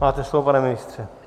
Máte slovo, pane ministře.